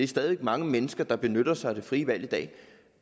stadig væk mange mennesker der benytter sig af det frie valg i dag